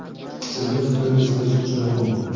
Sizning fikringiz, biz uchun muhim!.